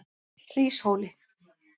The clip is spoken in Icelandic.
Hríshóli